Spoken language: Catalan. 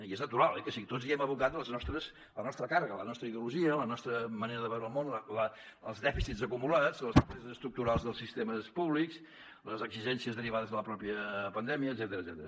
i és natural oi que sí tots hi hem abocat la nostra càrrega la nostra ideologia la nostra manera de veure el món els dèficits acumulats les febleses estructurals dels sistemes públics les exigències derivades de la mateixa pandèmica etcètera